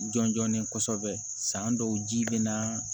Jɔn jɔnnen san dɔw ji bɛ na